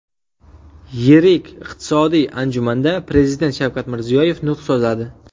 Yirik iqtisodiy anjumanda Prezident Shavkat Mirziyoyev nutq so‘zladi.